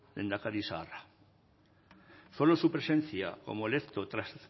lehendakari zaharra fue su presencia como electo tras